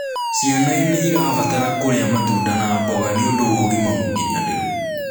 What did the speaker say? Ciana niirabatara kurĩa matunda na mboga nĩũndũ wa ũgima mukinyaniru